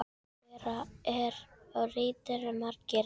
Annað þeirra er ritað af Margeiri